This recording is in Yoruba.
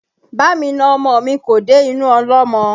Bá mi na ọmọ mi kò dé inú ọlọ́mọ